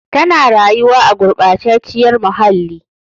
Tana rayuwa a gurɓacaciyar muhalli.